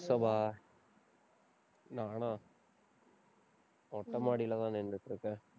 நானா மொட்டமாடியிலதான் நின்னுட்டு இருக்கேன்